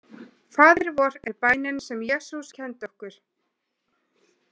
Faðir vor er bænin sem Jesús kenndi okkur.